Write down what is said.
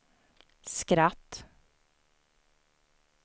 skratt